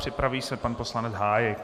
Připraví se pan poslanec Hájek.